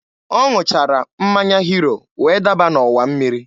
Ọ ṅụchara mmanya hiro wee daba n'ọwa mmiri